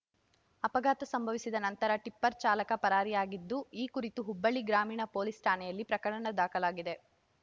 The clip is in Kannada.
ಅಪಘಾತ ಸಂಭವಿಸಿದ ನಂತರ ಟಿಪ್ಪರ್ ಚಾಲಕ ಪರಾರಿಯಾಗಿದ್ದು ಈ ಕುರಿತು ಹುಬ್ಬಳ್ಳಿ ಗ್ರಾಮೀಣ ಪೊಲೀಸ್ ಠಾಣೆಯಲ್ಲಿ ಪ್ರಕರಣ ದಾಖಲಾಗಿದೆ